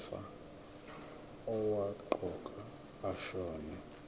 wefa owaqokwa ashona